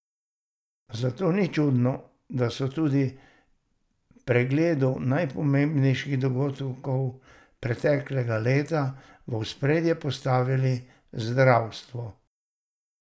Zato ni čudno, da so tudi v pregledu najpomembnejših dogodkov preteklega leta v ospredje postavili zdravstvo.